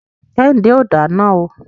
Kẹ́hìndé ò dáná o.